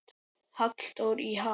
Halldór í ham